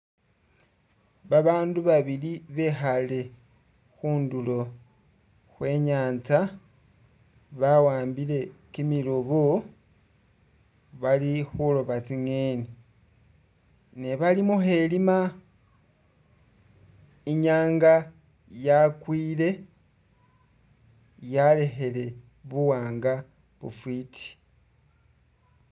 Babandu babili bekhale khundulo khwenyanza bawambile kimiloobo bali khulooba tsi'ngeni ne bali mukhelima, inyanga yakwile yalekhele buwaanga bufwiti